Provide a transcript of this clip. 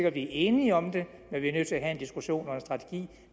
at vi er enige om det men vi er nødt til at have en diskussion og